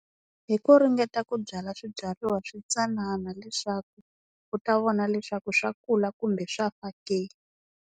Hi ku ringeta ku byala swibyariwa switsanana leswaku u ta vona leswaku swa kula kumbe swa fa ke.